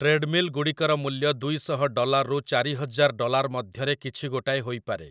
ଟ୍ରେଡ୍‌ମିଲ୍‌ଗୁଡ଼ିକର ମୂଲ୍ୟ ଦୁଇଶହ ଡଲାର୍‌ରୁ ଚାରିହଜାର ଡଲାର୍ ମଧ୍ୟରେ କଛି ଗୋଟାଏ ହୋଇପାରେ ।